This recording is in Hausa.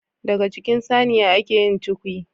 Daga jikin Saniya ake yin cukwi